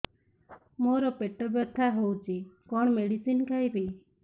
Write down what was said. ମୋର ପେଟ ବ୍ୟଥା ହଉଚି କଣ ମେଡିସିନ ଖାଇବି